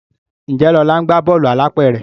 Njé Lola ńgba Bọ́ọ̀lù alápẹ̀rẹ̀?